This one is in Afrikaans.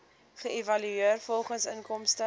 geëvalueer volgens inkomste